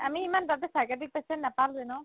আমি ইমান তাতে psychiatric patient নাপালোৱে ন